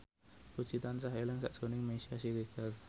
Puji tansah eling sakjroning Meisya Siregar